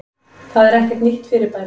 Það er ekkert nýtt fyrirbæri.